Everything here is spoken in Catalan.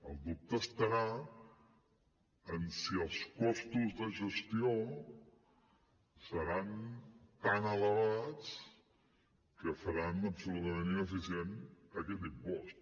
el dubte estarà en si els costos de gestió seran tan elevats que faran absolutament ineficient aquest impost